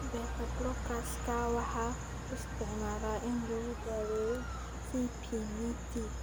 Beta-blockers-ka waxaa loo isticmaalaa in lagu daweeyo CPVT.